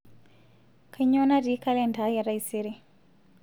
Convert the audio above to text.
kainyoo naati kalenda aai etaisere